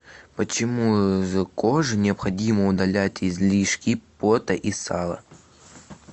почему из кожи необходимо удалять излишки пота и сала